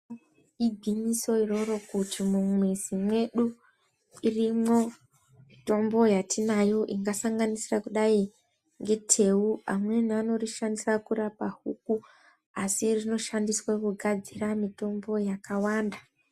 Igwinyiso iroro kuti mumwizi mwedu irimwo mitombo yatinayo ingasanganisira kudai ngeteu amweni anorishandisa kurapa huku asi rinoshandiswe kugadzira mitombo yakawanda.